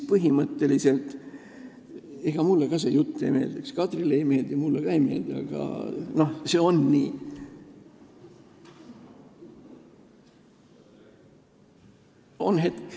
Põhimõtteliselt ega mulle ka see jutt ei meeldiks – Kadrile see ei meeldi ja mulle ka ei meeldi, aga see on nii.